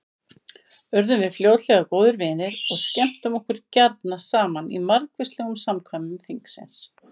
Urðum við fljótlega góðir vinir og skemmtum okkur gjarna saman í margvíslegum samkvæmum þingsins.